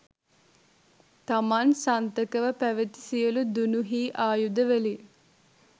තමන් සන්තකව පැවති සියලු දුනු හී ආයුධවලින්